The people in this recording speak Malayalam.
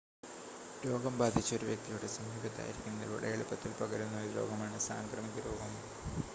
രോഗം ബാധിച്ച ഒരു വ്യക്തിയുടെ സമീപത്തായിരിക്കുന്നതിലൂടെ എളുപ്പത്തിൽ പകരുന്ന ഒരു രോഗമാണ് സാംക്രമിക രോഗം